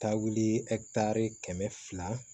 Taa wuli kɛmɛ fila